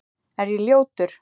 Er ég ljótur?